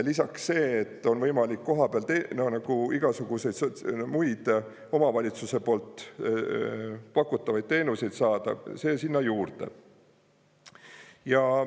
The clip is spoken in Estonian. Lisaks see, et on võimalik kohapeal igasuguseid muid omavalitsuse poolt pakutavaid teenuseid saada, see sinna juurde.